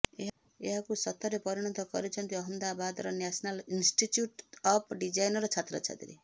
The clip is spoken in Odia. ଏହାକୁ ସତରେ ପରିଣତ କରିଛନ୍ତି ଅହମ୍ମଦାବାଦର ନ୍ୟାସନାଲ୍ ଇନଷ୍ଟିଚ୍ୟୁଟ ଅଫ୍ ଡିଜାଇନ୍ର ଛାତ୍ରଛାତ୍ରୀ